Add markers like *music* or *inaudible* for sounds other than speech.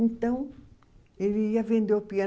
Então, ele ia vender o *unintelligible*